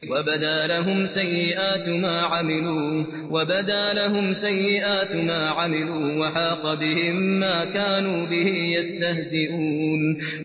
وَبَدَا لَهُمْ سَيِّئَاتُ مَا عَمِلُوا وَحَاقَ بِهِم مَّا كَانُوا بِهِ يَسْتَهْزِئُونَ